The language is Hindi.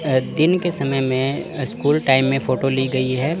दिन के समय में स्कूल टाइम में फोटो ली गई है।